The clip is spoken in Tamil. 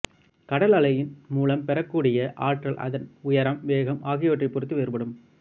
கடல் அலையின் மூலம் பெறக்கூடிய ஆற்றல் அதன் உயரம் வேகம் ஆகியவற்றைப் பொறுத்து வேறுபடும்